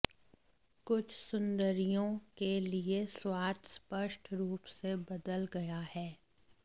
कुछ सुंदरियों के लिए स्वाद स्पष्ट रूप से बदल गया है